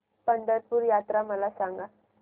पंढरपूर यात्रा मला सांग